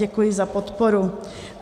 Děkuji za podporu.